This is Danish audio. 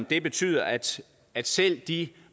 det betyder at at selv de